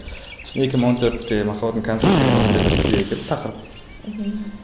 екі мың он төртте махаббатым констант деген осындай бір идея келді тақырып мхм